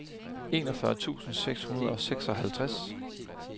enogfyrre tusind seks hundrede og seksoghalvtreds